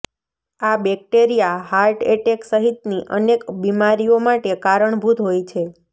આ bacteria heart attack સહિતની અનેક બીમારીઓ માટે કારણભૂત હોય છે